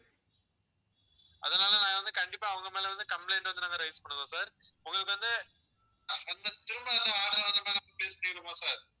அதனால நாங்க வந்து, கண்டிப்பா அவங்க மேல வந்து, complaint வந்து நாங்க rise பண்ணுவோம் sir உங்களுக்கு வந்து திரும்ப வந்து order வந்து release பண்ணிருவோமா sir